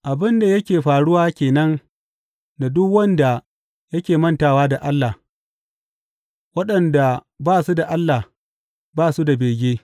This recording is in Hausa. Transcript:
Abin da yake faruwa ke nan da duk wanda yake mantawa da Allah; waɗanda ba su da Allah, ba su da bege.